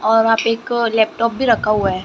और वहां पे एक लैपटॉप भी रखा हुआ है।